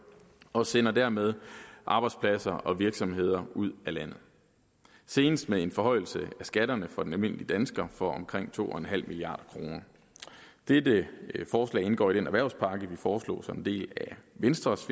og sender dermed arbejdspladser og virksomheder ud af landet senest med en forhøjelse af skatterne for den almindelige dansker for omkring to milliard kroner dette forslag indgår i den erhvervspakke som vi foreslog som en del af venstres